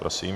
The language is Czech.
Prosím.